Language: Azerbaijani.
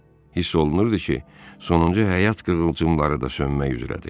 Hiss olunurdu ki, sonuncu həyat qığılcımları da sönmək üzrədir.